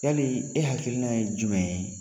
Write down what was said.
Yali e hakilina ye jumɛn ye?